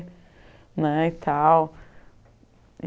né e tal.